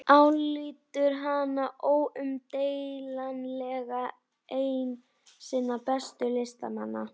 Álítur hana óumdeilanlega einn sinna bestu listamanna.